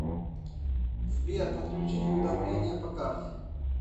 сбер подключить уведомление по карте